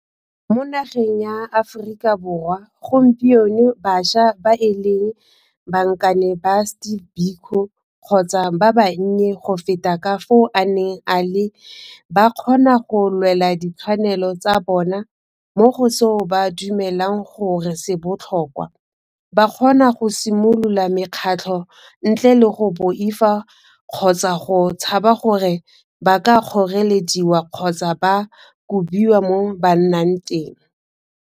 Mo nageng ya Aforika Borwa gompieno bašwa ba e leng bankane ba Steve Biko kgotsa ba bannye go feta ka fao a neng a le ba kgona go lwela ditshwanelo tsa bona mo go seo ba dumelang gore se botlhokwa, ba kgona go simolola mekgatlho ntle le go boifa kgotsa go tshaba gore ba ka kgorelediwa kgotsa ba kobiwa mo ba nnang teng.